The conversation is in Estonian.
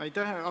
Aitäh!